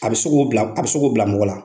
A bɛ se k'o bila a bɛ se k'o bila mɔgɔ la.